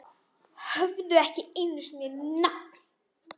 Höfðu ekki einu sinni nafn.